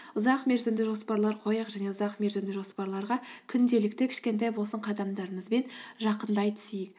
ұзақ мерзімді жоспарлар қояйық және ұзақ мерзімді жоспарларға күнделікті кішкентай болсын қадамдарымызбен жақындай түсейік